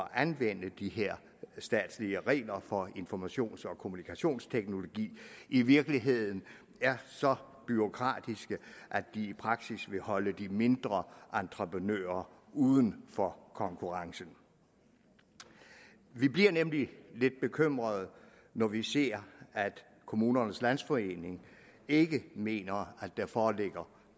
at anvende de her statslige regler for informations og kommunikationsteknologi i virkeligheden er så bureaukratiske at de i praksis vil holde de mindre entreprenører uden for konkurrence vi bliver nemlig lidt bekymrede når vi ser at kommunernes landsforening ikke mener at der foreligger